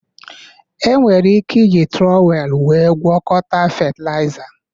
Enwere ike iji trowel wéé gwọkọta fetịlaịza